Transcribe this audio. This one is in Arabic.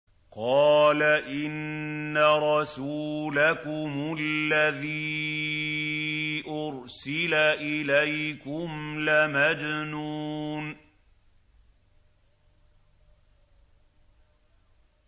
قَالَ إِنَّ رَسُولَكُمُ الَّذِي أُرْسِلَ إِلَيْكُمْ لَمَجْنُونٌ